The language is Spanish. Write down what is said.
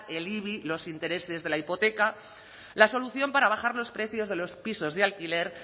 el ibi los intereses de la hipoteca la solución para bajar los precios de los pisos de alquiler